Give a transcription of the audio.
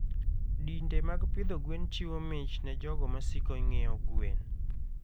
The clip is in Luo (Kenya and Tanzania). Dinde mag pidho gwen chiwo mich ne jogo ma siko ng'iewo gwen.